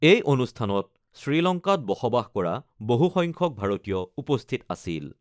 এই অনুষ্ঠানত শ্ৰীলংকাত বসবাস কৰা বহুসংখ্যক ভাৰতীয় উপস্থিত আছিল।